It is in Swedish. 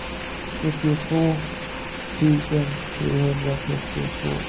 sjuttiotvå tusen trehundratrettiotvå